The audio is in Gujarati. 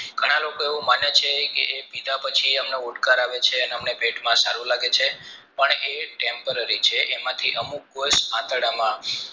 ઘણા લોકો મને છે કે એ પીધા પછી એમને ઓડકાર આવે છે કે અમને પેટમાં સારું લાગે છે પણ એ temporary છે એમાંથી અમુક વર્ષ આંતરડા માં